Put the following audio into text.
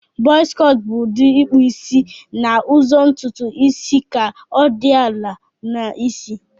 Buzz cọt bu ikpụ isi na ụzọ ntutu isi ka odi ala na isi.